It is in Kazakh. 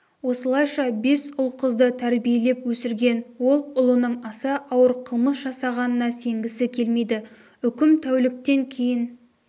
осылайша бес ұл-қызды тәрбиелеп өсірген ол ұлының аса ауыр қылмыс жасағанына сенгісі келмейді үкім тәуліктен кейін